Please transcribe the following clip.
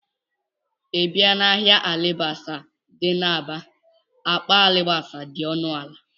Ị bịa n'ahịa alibasa dị n'Aba, akpa alibasa dị ọnụala